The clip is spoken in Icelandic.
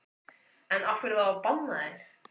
En af hverju þá að banna þær?